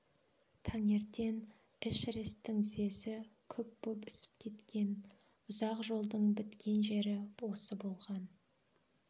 таңертең эшерестің тізесі күп боп ісіп кеткен ұзақ жолдың біткен жері осы болған